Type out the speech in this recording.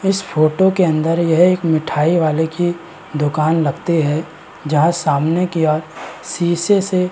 इस फोटो के अंदर यह एक मिठाई वाले की दुकान लगती है जहाँ सामने की ओर शीशे से --